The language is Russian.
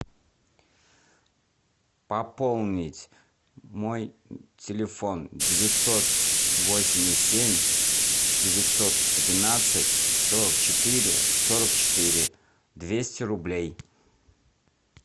пополнить мой телефон девятьсот восемьдесят семь девятьсот тринадцать сорок четыре сорок четыре двести рублей